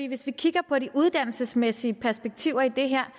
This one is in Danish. hvis vi kigger på de uddannelsesmæssige perspektiver i det her